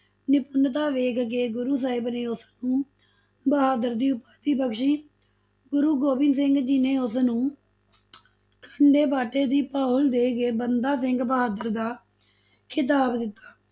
ਨਿਪੁੰਨਤਾ ਵੇਖ ਕੇ ਗੁਰੂ ਸਾਹਿਬ ਨੇ ਉਸ ਨੂੰ ਬਹਾਦਰ ਦੀ ਉਪਾਧੀ ਬਖਸ਼ੀ, ਗੁਰੂ ਗੋਬਿੰਦ ਸਿੰਘ ਜੀ ਨੇ ਉਸ ਨੂੰ ਖੰਡੇ-ਬਾਟੇ ਦੀ ਪਹੁਲ ਦੇ ਕੇ ਬੰਦਾ ਸਿੰਘ ਬਹਾਦਰ ਦਾ ਖਿਤਾਬ ਦਿੱਤਾ।